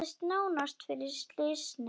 Þetta gerðist nánast fyrir slysni.